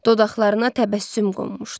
Dodaqlarına təbəssüm qonmuşdu.